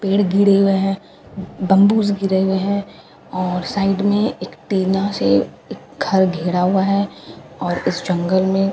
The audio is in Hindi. पेड़ घिरे हुए हैं बम्बू से घिरे हुए हैं और साइड में एक टीना से घर घिरा हुआ है और इस जंगल में--